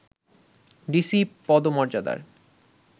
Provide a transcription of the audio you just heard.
DC পদমর্যাদার